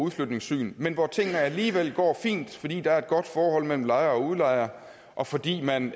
udflytningssyn men hvor tingene alligevel går fint fordi der er et godt forhold mellem lejer og udlejer og fordi man